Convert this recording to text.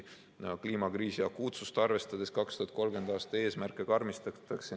Kliimakriisi akuutsust arvestades meil 2030. aasta eesmärke karmistatakse.